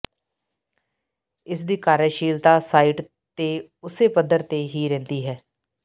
ਇਸ ਦੀ ਕਾਰਜਸ਼ੀਲਤਾ ਸਾਈਟ ਤੇ ਉਸੇ ਪੱਧਰ ਤੇ ਹੀ ਰਹਿੰਦੀ ਹੈ